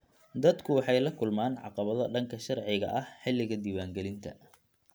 Dadku waxay la kulmaan caqabado dhanka sharciga ah xilliga diiwaangelinta.